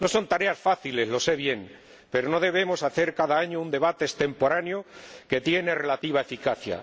No son tareas fáciles —lo sé bien—, pero no debemos hacer cada año un debate extemporáneo que tiene relativa eficacia.